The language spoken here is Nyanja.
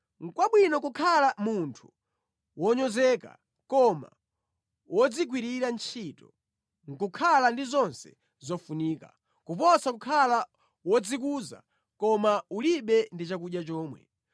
Nʼkwabwino kukhala munthu wonyozeka koma wodzigwirira ntchito nʼkukhala ndi zonse zofunika, kuposa kukhala wodzikuza koma ulibe ndi chakudya chomwe.